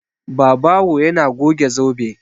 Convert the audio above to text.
Babawo yana goge zobe.